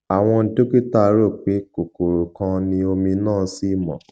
àwọn dókítà rò pé kòkòrò kan ni omi náà sì mọ